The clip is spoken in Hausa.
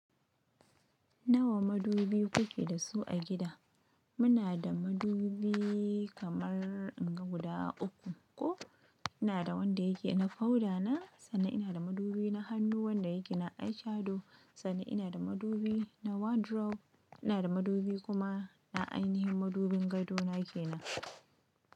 Nawa madubi kuke da su a gida? Muna da madubi kamar inga guda uku. Ko ina da wanda yake na powder na, sannan ina da madubi na hannu wanda yake na eyeshadow, sannan ina da madubi na wardrobe. Ina da madubi kuma na ainihin madubin gadona ke nan.